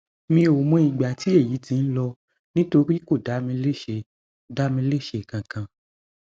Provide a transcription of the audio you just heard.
mi ò mọ ìgbà tí èyí ti ń lọ nítorí kò dá mi léṣe dá mi léṣe kankan